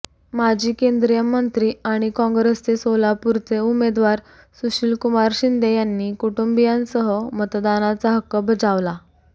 माजी केंद्रीय मंत्री आणि काँग्रेसचे सोलापूरचे उमेदवार सुशीलकुमार शिंदे यांनी कुटुंबियांसह मतदानाचा हक्क बजावला